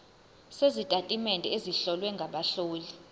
sezitatimende ezihlowe ngabahloli